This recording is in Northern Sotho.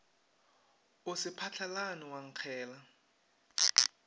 o se phatlalale wa nkgela